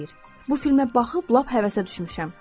Bu filmə baxıb lap həvəsə düşmüşəm.